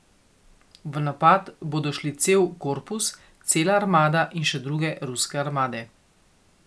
V napad bodo šli cel korpus, cela armada in še druge ruske armade.